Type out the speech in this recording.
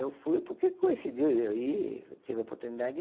Eu fui porque coincidiu de eu ir eu tive a oportunidade